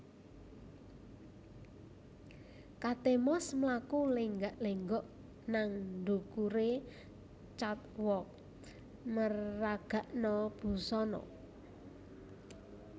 Kate Moss mlaku lenggak lenggok nang ndukure catwalk meragakno busana